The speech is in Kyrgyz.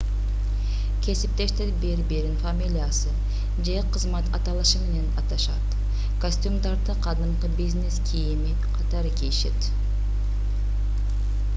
кесиптештер бири-бирин фамилиясы же кызмат аталышы менен аташат костюмдарды кадимки бизнес кийими катары кийишет